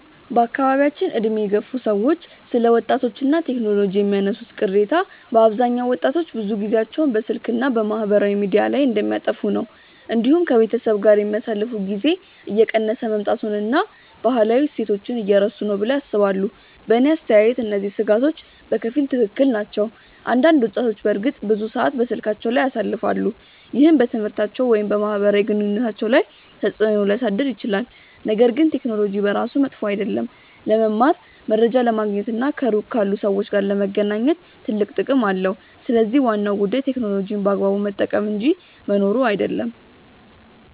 በአካባቢያችን ዕድሜ የገፉ ሰዎች ስለ ወጣቶች እና ቴክኖሎጂ የሚያነሱት ቅሬታ በአብዛኛው ወጣቶች ብዙ ጊዜያቸውን በስልክ እና በማህበራዊ ሚዲያ ላይ እንደሚያጠፉ ነው። እንዲሁም ከቤተሰብ ጋር የሚያሳልፉት ጊዜ እየቀነሰ መምጣቱን እና ባህላዊ እሴቶችን እየረሱ ነው ብለው ያስባሉ። በእኔ አስተያየት እነዚህ ስጋቶች በከፊል ትክክል ናቸው። አንዳንድ ወጣቶች በእርግጥ ብዙ ሰዓት በስልካቸው ላይ ያሳልፋሉ፣ ይህም በትምህርታቸው ወይም በማህበራዊ ግንኙነታቸው ላይ ተጽእኖ ሊያሳድር ይችላል። ነገር ግን ቴክኖሎጂ በራሱ መጥፎ አይደለም። ለመማር፣ መረጃ ለማግኘት እና ከሩቅ ካሉ ሰዎች ጋር ለመገናኘት ትልቅ ጥቅም አለው። ስለዚህ ዋናው ጉዳይ ቴክኖሎጂን በአግባቡ መጠቀም እንጂ መኖሩ አይደለም።